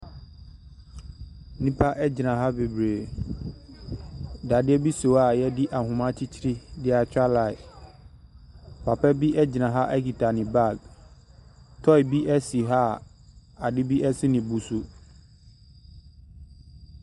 Nnipa gyina ha bebree. Dadeɛ bi si ha wɔde ahoma akyekyere de atwa line. Papa bi gyina ha kita ne bag. Toy bi si ha a ade bi si ne bo so.